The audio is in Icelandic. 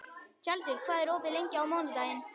Tjaldur, hvað er opið lengi á mánudaginn?